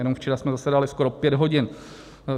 Jenom včera jsme zasedali skoro pět hodin.